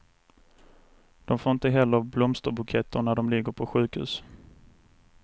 De får inte heller blomsterbuketter när de ligger på sjukhus.